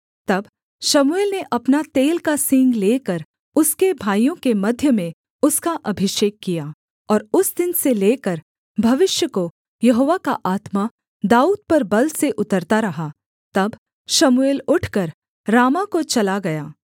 तब शमूएल ने अपना तेल का सींग लेकर उसके भाइयों के मध्य में उसका अभिषेक किया और उस दिन से लेकर भविष्य को यहोवा का आत्मा दाऊद पर बल से उतरता रहा तब शमूएल उठकर रामाह को चला गया